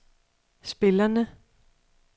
spillerne